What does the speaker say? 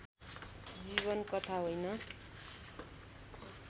जीवन कथा होइन